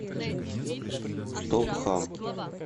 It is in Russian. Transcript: стоп хам